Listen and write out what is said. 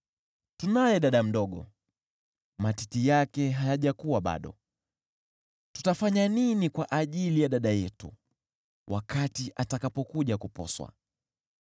Tunaye dada mdogo, matiti yake hayajakua bado. Tutafanya nini kwa ajili ya dada yetu wakati atakapokuja kuposwa?